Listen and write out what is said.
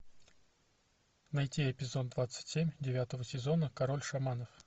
найти эпизод двадцать семь девятого сезона король шаманов